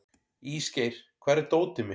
Ísgeir, hvar er dótið mitt?